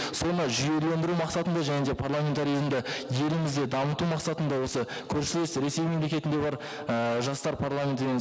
соны жүйелендіру мақсатында және де парламентарий ұйымды елімізде дамыту мақсатында осы көршілес ресей мемлекетінде бар ііі жастар парламенті деген